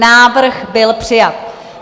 Návrh byl přijat.